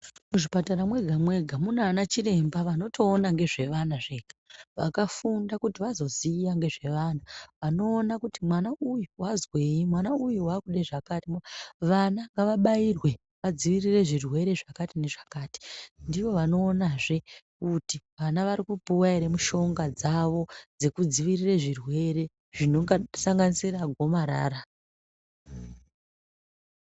Muzvipatara mwega-mwega, Muna anachiremba vanotoona ngezve vana zvega, vakafunda kuti vazoziya ngezve vana, vanoona kuti mwana uyu wazwei, mwana uyu waakude zvakati. Vana ngavabairwe vadzivirire zvirwere zvakati nezvakati, ndivo vanoonazve kuti vana vari kupuwa ere mushonga dzavo dzekudzivirire zvirwere, zvinosanganisora gomarara.